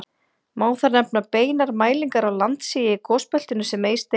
Má þar nefna beinar mælingar á landsigi í gosbeltinu sem Eysteinn